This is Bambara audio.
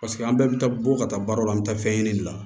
Paseke an bɛɛ bɛ taa bɔ ka taa baara la an bɛ taa fɛn ɲini de la